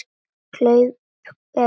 Kaup er kaup.